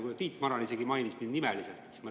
Kuna Tiit Maran isegi mainis mind nimeliselt, siis ma …